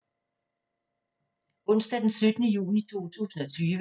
Onsdag d. 17. juni 2020